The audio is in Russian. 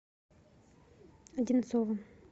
одинцова